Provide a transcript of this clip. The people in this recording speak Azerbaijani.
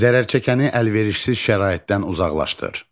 Zərərçəkəni əlverişsiz şəraitdən uzaqlaşdır.